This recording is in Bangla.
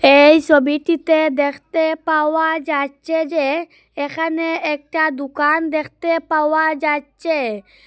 এই সবিটিতে দেখতে পাওয়া যাচ্চে যে এখানে একটা দুকান দেখতে পাওয়া যাচ্চে।